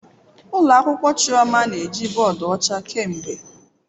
Ụlọ akwụkwọ "Chioma" na-eji bọọdụ ọcha kemgbe."